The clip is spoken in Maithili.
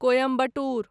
कोयम्बटूर